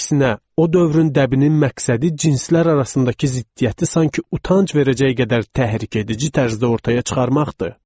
Əksinə, o dövrün dəbinin məqsədi cinslər arasındakı ziddiyyəti sanki utanc verəcək qədər təhrikedici tərzdə ortaya çıxarmaqdır.